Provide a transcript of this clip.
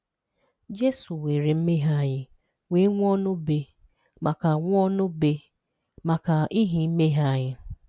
Jesu weere mmehie anyị wee nwụọ n'obe maka nwụọ n'obe maka ihi mmehie anyị